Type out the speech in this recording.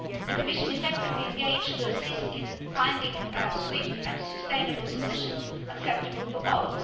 The Commission is actively assisting in finding a swift and sustainable solution acceptable to